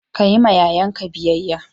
Ka yi ma yayanki biyayya!